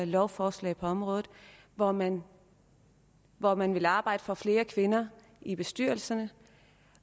lovforslag på området hvor man hvor man vil arbejde for flere kvinder i bestyrelserne